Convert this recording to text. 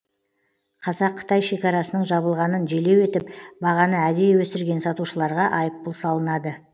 қазақ қытай шекарасының жабылғанын желеу етіп бағаны әдейі өсірген сатушыларға айыппұл салынады